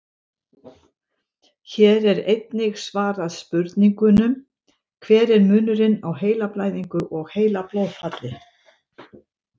Hér er einnig svarað spurningunum: Hver er munurinn á heilablæðingu og heilablóðfalli?